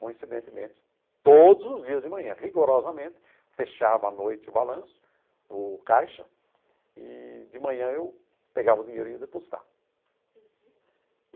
Coincidentemente, todos os dias de manhã, rigorosamente, fechava à noite o balanço, o caixa, e de manhã eu pegava o dinheiro e ia depositar. Uhum.